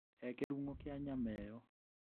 He kĩrung'o kia nyama ĩyo.